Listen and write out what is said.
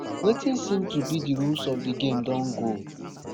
wetin seem to be di rules of di game don go